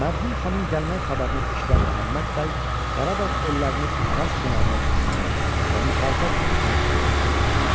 Mərhum xanın gəlmək xəbərini eşidən Məhəmməd bəy Qarabağ ellərini Araz kənarlarına köçürmək və müxalifət etmək fikrinə düşdü.